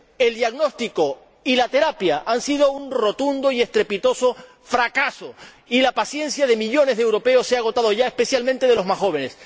El diagnóstico y la terapia han sido un rotundo y estrepitoso fracaso, y la paciencia de millones de europeos se ha agotado ya, especialmente la de los más jóvenes.